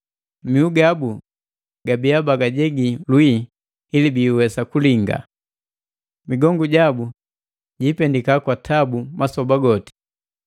Mihu gabu gabia bagajegi lwii ili biiwesa kulinga. Migongu jabu jiipendika kwa tabu masoba goti!”